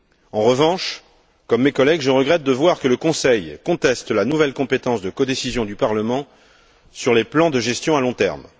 En revanche, comme mes collègues, je regrette de voir que le Conseil conteste la nouvelle compétence de codécision du Parlement sur les plans de gestion à long terme.